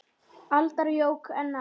aldar jók enn á.